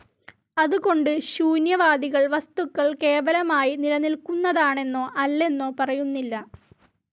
അതുകൊണ്ട് ശൂന്യവാദികൾ, വസ്തുക്കൾ കേവലമായി നിലനിൽക്കുതാണെന്നോ, അല്ലെന്നോ പറയുന്നില്ല.